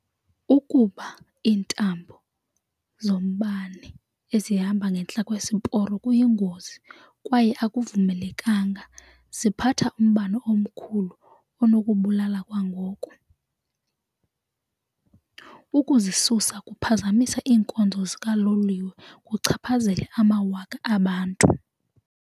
Ukupha iintambo zombane ezihamba ngentla kwesiporo kuyingozi kwaye akuvumelekanga. Ziphatha umbane omkhulu onokubulala kwangoko. Ukuzisusa kuphazamisa iinkonzo zikaloliwe kuchaphazele amawaka abantu.